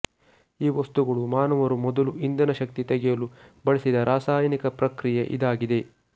ಈ ವಸ್ತುಗಳು ಮಾನವರು ಮೊದಲು ಇಂಧನ ಶಕ್ತಿ ತೆಗೆಯಲು ಬಳಸಿದ ರಾಸಾಯನಿಕ ಪ್ರಕ್ರಿಯೆ ಇದಾಗಿದೆ